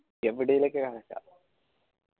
എവിടക്കണേലും ഞാൻ നിക്കാ